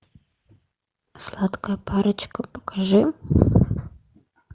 сладкая парочка покажи